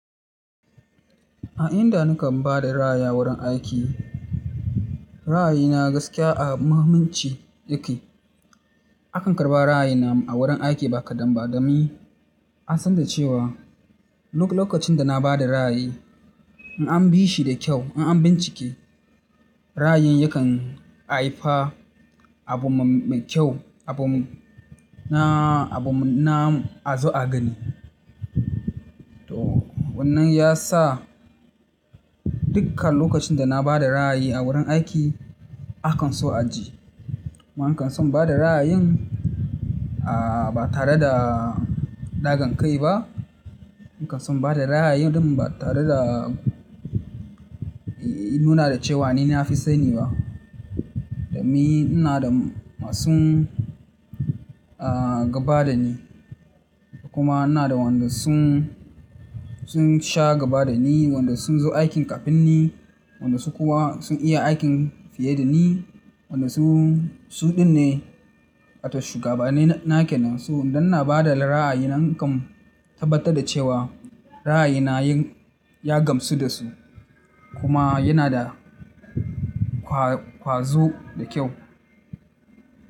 A inda nakan bada ra'ayi a wurin aiki, ra'ayi na gaskiya a muhimmanci yake. Akan karɓa ra'ayi na a wurin aiki ba kadan ba domin, an san da cewa duk lokacin da na bada ra'ayi in an bi shi da kyau, in an bincike, ra'ayin yakan haifa abu mai kyau, abu na, abu na a zo a gani. To wannan ya sa dukkan lokacin da na bada ra'ayi a wurin aiki akan so a ji. Kuma akan so in bada ra'ayin, ah ba tare da dagan kai ba. In kan son bada rayayin ɗin ba tare da ya nuna da cewa ni na fi sani ba. Dan ni ina da masu gaba da ni kuma ina da wanda sun, sun sha gaba da ni, wanda sun zo aikin kafin ni, wanda su kuwa sun iya aikin fiye da ni, wanda su, su ɗin ne. Wato shugabanni na kenan su. Dan ina bada ra'ayi, nakan tabbatar da cewa. Ra'ayi na yin ya gamsu da su. Kuma yana da kwazo da kyau.